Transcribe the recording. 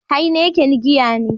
Heineken giya ne.